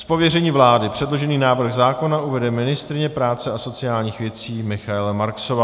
Z pověření vlády předložený návrh zákona uvede ministryně práce a sociálních věcí Michaela Marksová.